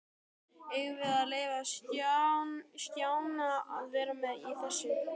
Eigum við að leyfa Stjána að vera með í þessu?